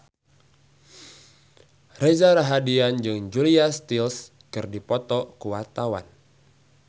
Reza Rahardian jeung Julia Stiles keur dipoto ku wartawan